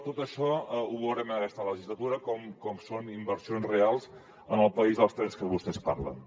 tot això veurem en aquesta legislatura com són inversions reals en el país dels trens de què vostès parlen